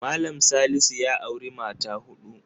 Mallam Salisu ya auri mata huɗu.